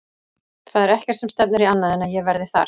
Það er ekkert sem stefnir í annað en að ég verði þar.